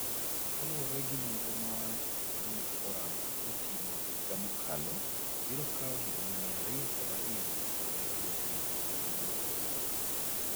Kaluwore gi nonro ma World Economic Forum notimo higa mokalo, biro kawo higini 202 mondo medruokno orum.